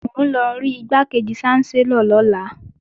Mò ń lọ rí Igbákejì ṣánsẹ́lọ̀ lọ́la